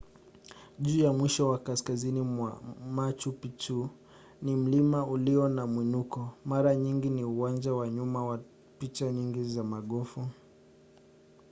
juu ya mwisho wa kaskazini mwa machu picchu ni mlima ulio na mwinuko mara nyingi ni uwanja wa nyuma wa picha nyingi za magofu